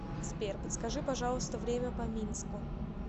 сбер подскажи пожалуйста время по минску